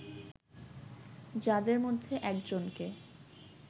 যাদের মধ্যে একজনকে